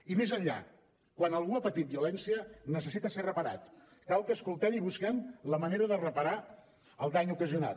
i més enllà quan algú ha patit violència necessita ser reparat cal que escoltem i busquem la manera de reparar el dany ocasionat